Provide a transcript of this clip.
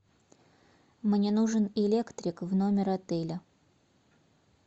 мне нужен электрик в номер отеля